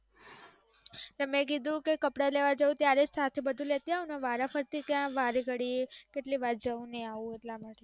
મે કીધુ કે કપડા લેવા જઉ ત્યારે જ સાથે બધુ લેતા આઉ ને વારાફરથી ત્યા વારે ગડીયે કેટલી વાર જઉ ને આઉ.